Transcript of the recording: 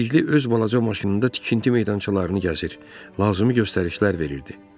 Bilikli öz balaca maşınında tikinti meydançalarını gəzir, lazımı göstərişlər verirdi.